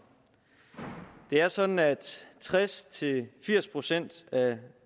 det er sådan at tres til firs procent af